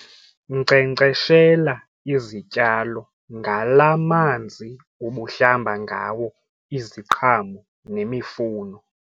Nkcenkceshela izityalo ngalaa manzi ubuhlamba ngawo iziqhamo nemifuno.